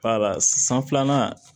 Wala san filanan